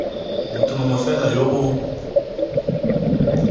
motho mongwe fela yo o